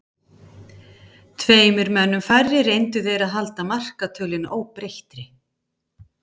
Tveimur mönnum færri reyndu þeir að halda markatölunni óbreyttri.